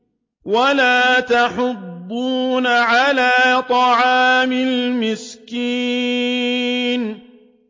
وَلَا تَحَاضُّونَ عَلَىٰ طَعَامِ الْمِسْكِينِ